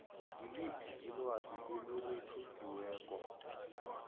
ngiliphi ilwazi elirekhodiweko